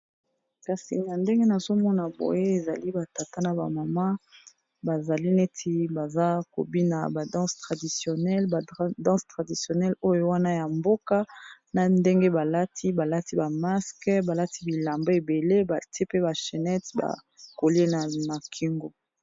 Kasi na ndenge nazomona boye ezali ba tata na ba mama bazali neti baza kobina ba danses traditionnelles, ba danses traditionelle oyo wana ya mboka na ndenge balati balati ba masques balati bilamba ebele bati pe ba chennete ba coliers na ma kingo.